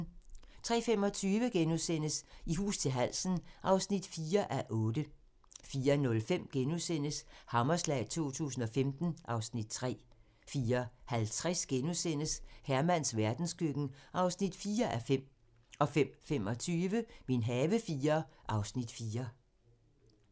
03:25: I hus til halsen (4:8)* 04:05: Hammerslag 2015 (Afs. 3)* 04:50: Hermans verdenskøkken (4:5)* 05:25: Min have IV (Afs. 4)